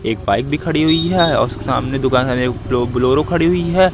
एक बाइक भी खड़ी हुई है और उसके सामने बोलोरो खड़ी हुई है।